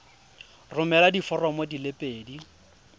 romela diforomo di le pedi